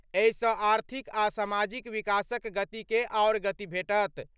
एहिसँ आर्थिक आ सामाजिक विकासक गतिकेँ आओर गति भेटत।